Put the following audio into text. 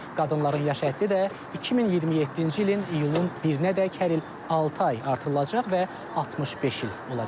Qadınların yaş həddi də 2027-ci ilin iyulun 1-ədək hər il altı ay artırılacaq və 65 il olacaq.